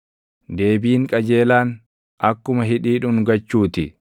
Deebiin qajeelaan, akkuma hidhii dhungachuu ti.